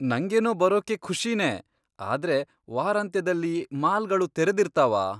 ನಂಗೇನೋ ಬರೋಕೆ ಖುಷಿನೇ, ಆದ್ರೆ ವಾರಾಂತ್ಯದಲ್ಲಿ ಮಾಲ್ಗಳು ತೆರೆದಿರ್ತಾವಾ?